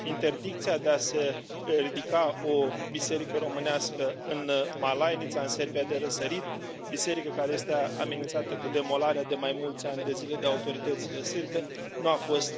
interdicția de a se ridica o biserică românească în Malainița, în Serbia de Răsărit biserică, care este a amenințată cu demolarea de mai mulți ani de zile de autoritățile sârbe nu a fost